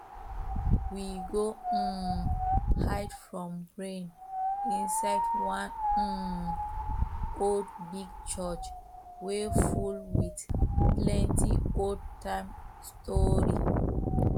we go um hide from rain inside one um old big church wey full with plenty old time stori